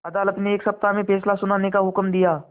अदालत ने एक सप्ताह में फैसला सुनाने का हुक्म दिया